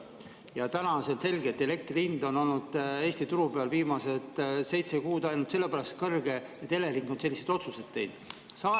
Ja täna on selge, et elektri hind on olnud Eesti turu peal viimased seitse kuud ainult sellepärast kõrge, et Elering on selliseid otsuseid teinud.